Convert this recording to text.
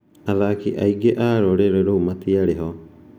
Athaki aingĩ a rũrĩrĩ rũu matiarĩ ho!